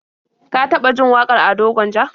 Ka taɓa jin wakar Ado Gwanja?